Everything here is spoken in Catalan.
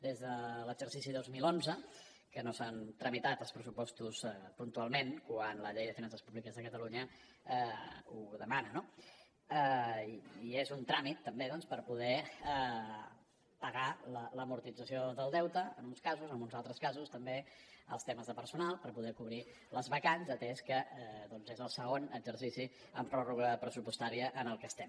des de l’exercici dos mil onze que no s’han tramitat els pressupostos puntualment quan la llei de finances públiques de catalunya ho demana no i és un tràmit també doncs per poder pagar l’amortització del deute en uns casos en uns altres casos també els temes de personal per poder cobrir les vacants atès que és el segon exercici amb pròrroga pressupostària en el que estem